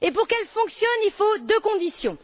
Et pour qu'elle fonctionne, il faut deux conditions.